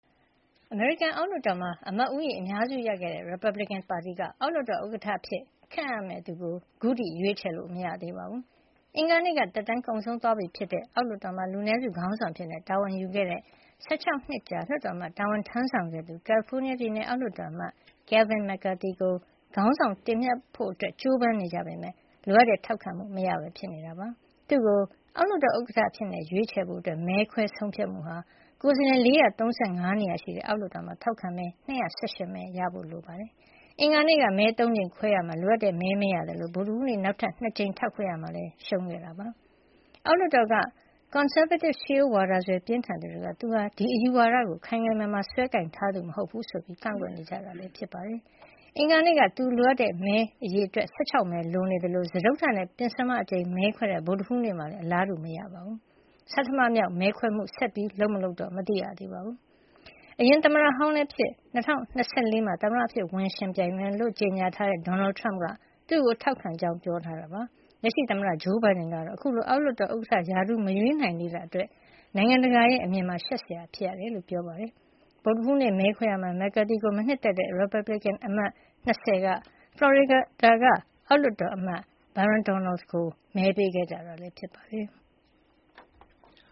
အမေရိကန် အောက်လွှတ်တော်မှာ အမတ်ဦးရေ အများစုရခဲ့တဲ့ ရီပတ်ဘလစ်ကင်ပါတီက အောက်လွှတ်တော် ဥက္ကဌအဖြစ် ခန့်အပ်ရမယ့် သူကို အခုထိ ရွေးချယ်လို့ မရသေးပါဘူး။ အင်္ဂါနေ့က သက်တမ်းကုန်ဆုံးသွားပြီဖြစ်တဲ့ အောက်လွှတ်တော်မှာ လူနည်းစုခေါင်းဆောင်အဖြစ် တာဝန်ယူခဲ့တဲ့ ၁၆ နှစ်ကြာ လွှတ်တော်အမတ် တာဝန်ထမ်းဆောင်ခဲ့သူ ကယ်လီဖိုးနီးယားပြည်နယ် အောက်လွှတ်တော်အမတ် Kevin McCarthy ကို ခေါင်းဆောင်တင်မြှောက်ဖို့ ကြိုးပမ်းနေကြပေမဲ့ လိုအပ်တဲ့ ထောက်ခံမှု မရဘဲ ဖြစ်နေတာပါ။ သူ့ကို အောက်လွှတ်တော် ဥက္ကဌအဖြစ် ရွေးချယ်ဖို့ မဲခွဲဆုံးဖြတ်မှုဟာ ကိုယ်စားလှယ် ၄၃၅ နေရာရှိတဲ့ အောက်လွှတ်တော်မှာ ထောက်ခံမဲ ၂၁၈ မဲ ရရှိဖို့ လိုအပ်ပါတယ်။ အင်္ဂါနေ့က မဲ ၃ ကြိမ်ခွဲခဲ့ရာမှာ လိုအပ်တဲ့မဲ မရခဲ့သလို ဗုဒ္ဓဟူးနေ့ နောက်ထပ် ၂ ကြိမ်မဲခွဲရာမှာလည်း ရှုံးခဲ့တာ ဖြစ်ပါတယ်။ အောက်လွှတ်တော်က ကွန်ဆာဗေးတစ် ရှေးရိုးစွဲဝါဒပြင်းထန်သူ တွေက သူဟာ ဒီအယူဝါဒကို ခိုင်ခိုင်မာမာ စွဲကိုင်ထားသူမဟုတ် ဘူးဆိုပြီး ကန့်ကွက်နေကြတာ ဖြစ်ပါတယ်။ အင်္ဂါနေ့က သူလိုအပ်တဲ့ မဲအရေအတွက် ၁၆ မဲ လိုနေသလို စတုတ္ထနဲ့ ပဉ္စမအကြိမ် မဲခွဲခဲ့တဲ့ ဗုဒ္ဓဟူးနေ့မှာလည်း အလားတူမရဘဲ ဖြစ်နေတာပါ။ ဆဌမမြောက် မဲခွဲမှုကို ဆက်ပြုလုပ် မလုပ် ခုထိ မသိရသေးပါဘူး။ အရင်သမ္မတဟောင်းလည်းဖြစ် အခု ၂၀၂၄ မှာ သမ္မတအဖြစ် ဝင်ရောက်ယှဉ်ပြိုင်မယ်လို့ ကြေညာထားတဲ့ Donald Trump က သူ့ကို ထောက်ခံကြောင်း ပြောဆိုထားတာပါ။ လက်ရှိသမ္မတ Joe Biden ကတော့ အခုလို အောက်လွှတ်တော် ဥက္ကဌ ရာထူး မရွေးနိုင်သေးတာ အတွက် နိုင်ငံတကာ အမြင်မှာ ရှက်စရာ ဖြစ်ရကြောင်း ပြောပါတယ်။ ဗုဒ္ဓဟူးနေ့ မဲခွဲရာမှာ McCarthy ကို မနှစ်သက်တဲ့ ရီပတ်ဘလစ်ကင်အမတ် ၂၀ က ဖလော်ရီဒါ အောက်လွှတ်တော်အမတ် Byron Donalds ကို မဲပေးခဲ့ကြတာ ဖြစ်ပါတယ်။